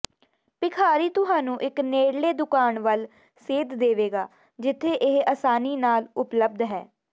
ਭਿਖਾਰੀ ਤੁਹਾਨੂੰ ਇੱਕ ਨੇੜਲੇ ਦੁਕਾਨ ਵੱਲ ਸੇਧ ਦੇਵੇਗਾ ਜਿੱਥੇ ਇਹ ਆਸਾਨੀ ਨਾਲ ਉਪਲਬਧ ਹੈ